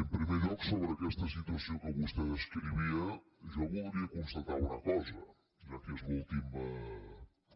en primer lloc sobre aquesta situació que vostè descrivia jo voldria constatar una cosa ja que és l’última